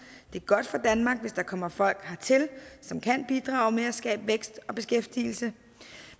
det er godt for danmark hvis der kommer folk hertil som kan bidrage med at skabe vækst og beskæftigelse